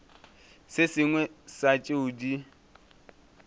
se sengwe sa tšeo di